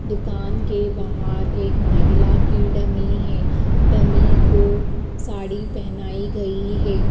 दुकान के बाहर एक महिला की डमी है डमी को साड़ी पहनाई गई है।